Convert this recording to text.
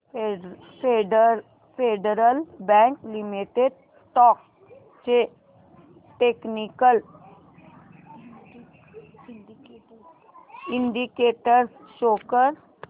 federal Bank limited stocks चे technical indicators show कर